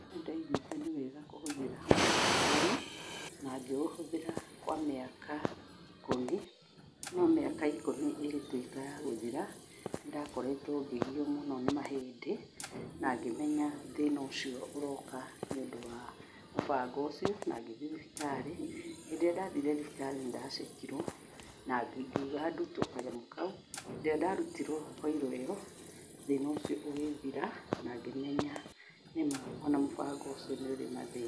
Nĩndaiguĩte nĩ wega gũhũthĩra mũbango ũyũ, na ngĩũhũthĩra kwa mĩaka ikũmi, no mĩaka ikũmi ĩgĩtuĩka ya gũthira, nĩndakoretwo ngĩgio mũno nĩ mahĩndĩ, na ngĩmenya thĩna ũcio ũroka nĩ ũndũ wa mũbango ũcio na ngĩthiĩ thibitarĩ. Hĩndĩ ĩrĩa ndathire thibitarĩ nĩ ndacekirwo na ngiuga ndutuo kanyamũ kau, rĩrĩa ndarutirwo koiro ĩyo, thĩna ũcio ũgĩthira na ngĩmenya nĩma ona mũbango ũcio nĩ ũrĩ mathĩna.